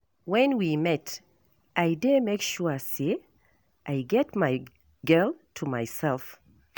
When we meet I dey make sure say I get my girl to myself.